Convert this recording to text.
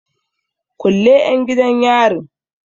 Kulle 'yan gidan yarin!